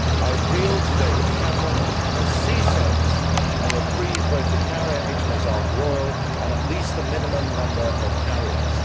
I appeal to David Cameron to see sense and reprieve both the carrier HMS Ark Royal, and at least a minimum number of Harriers.